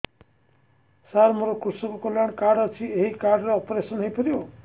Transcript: ସାର ମୋର କୃଷକ କଲ୍ୟାଣ କାର୍ଡ ଅଛି ଏହି କାର୍ଡ ରେ ଅପେରସନ ହେଇପାରିବ